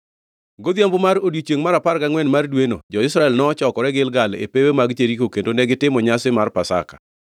Godhiambo mar odiechiengʼ mar apar angʼwen mar dweno, jo-Israel nochokore Gilgal e pewe mag Jeriko kendo negitimo nyasi mar Pasaka.